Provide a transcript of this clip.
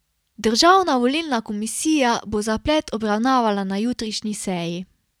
Državna volilna komisija bo zaplet obravnavala na jutrišnji seji.